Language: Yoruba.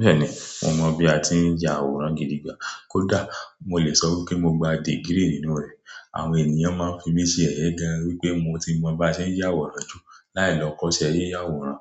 Bẹ́ẹ̀ni, mo mọ bí a ti ń ya àwòrán gidi gbà. Kódà mo lè sọ wípé mo gba degree nínú rẹ̀. Àwọn ènìyàn máa ń fi mí ṣe yẹyẹ gan wípé mo ti mọ bá ṣe ń ya àwòrán jù láì lọ kọ́ṣẹ́ yiya àwòrán.